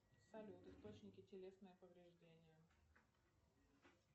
салют источники телесное повреждение